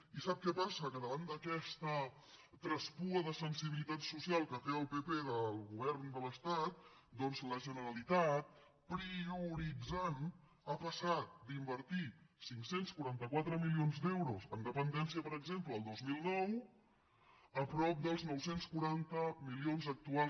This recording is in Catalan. i sap què passa que davant d’aquest traspuament de sensibilitat social que té el pp del govern de l’estat doncs la generalitat prioritzant ha passat d’invertir cinc cents i quaranta quatre milions d’euros en dependència per exemple el dos mil nou a prop dels nou cents i quaranta milions actuals